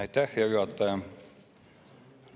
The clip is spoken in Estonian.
Aitäh, hea juhataja!